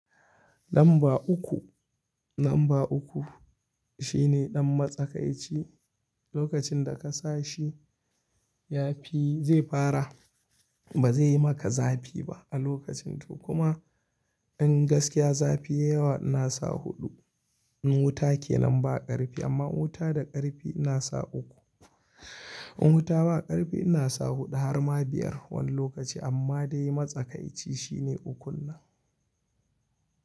Lamba uku, lamba uku shine ɗan matsakaici. Lokacin da ka sa shi, ya fi zai fara, ba zai yi maka zafi ba a lokacin, to kuma, in gaskiya zafi yayi yawa ina sa huɗu. In wuta ke nan ba ƙarfi, amma in wuta da ƙarfi ina sa uku. In wuta ba ƙarfi ina sa huɗu har ma biyar wani lokaci, amma dai matsakaici shi ne ukun nan.